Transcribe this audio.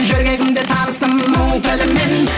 жүргегімде таныстым мұң тілімен